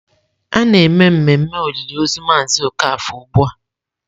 A na-eme mmemme olili ozu Mazị Okafor ugbu a.